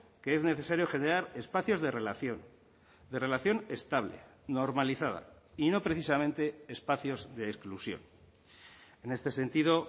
que es necesario generar espacios de relación de relación estable normalizada y no precisamente espacios de exclusión en este sentido